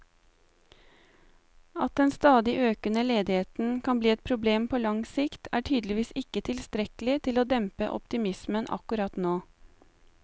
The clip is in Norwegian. At den stadig økende ledigheten kan bli et problem på lang sikt, er tydeligvis ikke tilstrekkelig til å dempe optimismen akkurat nå.